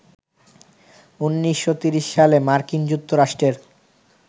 ১৯৩০ সালে মার্কিন যুক্তরাষ্ট্রের